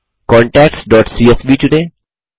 contactsसीएसवी चुनें